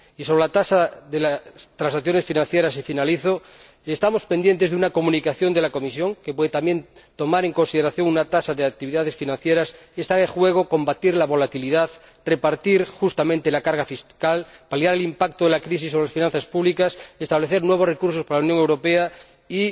Y sobre la tasa sobre las transacciones financieras y finalizo estamos pendientes de una comunicación de la Comisión que puede también tomar en consideración una tasa sobre las actividades financieras, y está en juego combatir la volatilidad, repartir justamente la carga fiscal, paliar el impacto de la crisis sobre las finanzas públicas, establecer nuevos recursos para la Unión Europea y